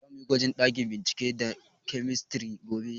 Za muyi gwaji a ɗakin bincike na kemistri gobe